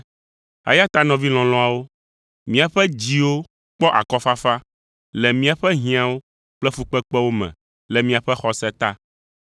Eya ta nɔvi lɔlɔ̃awo, míaƒe dziwo kpɔ akɔfafa, le míaƒe hiãwo kple fukpekpewo me le miaƒe xɔse ta.